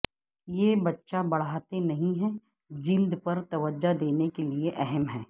یہ بچہ بڑھاتے نہیں ہے جلد پر توجہ دینے کے لئے اہم ہے